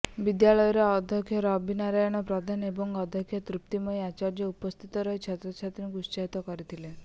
ବିଦ୍ୟାଳୟର ଅଧ୍ୟକ୍ଷ ରବି ନାରାୟଣ ପ୍ରଧାନ ଏବଂ ଅଧ୍ୟକ୍ଷା ତୃପ୍ତିମୟୀ ଆଚାର୍ଯ୍ୟ ଉପସ୍ଥିତ ରହି ଛାତ୍ରଛାତ୍ରୀଙ୍କୁ ଉତ୍ସାହିତ କରିଥିଲେ